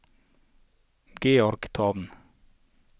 Georgetown